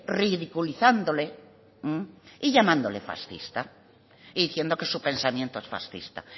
ridiculizándole y llamándole fascista y diciendo que su pensamiento es fascista